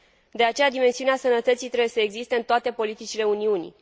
De aceea, dimensiunea sănătății trebuie să existe în toate politicile Uniunii.